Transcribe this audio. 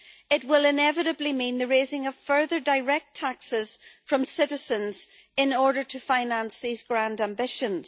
It will inevitably mean the raising of further direct taxes from citizens in order to finance these grand ambitions.